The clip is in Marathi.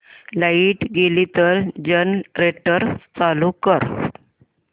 लाइट गेली तर जनरेटर चालू कर